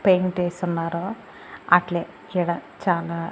paint ఏసున్నారు అట్లే ఈడ చానా--